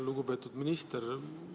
Lugupeetud minister!